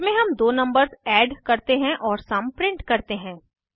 इसमे हम दो नंबर्स एड करते हैं और सम प्रिंट करते हैं